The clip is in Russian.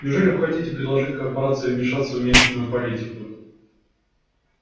неужели вы хотите предложить корпорации вмешаться в местную политику